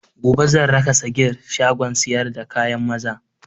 Gobe san raka sagir shagon sayar da kayan maza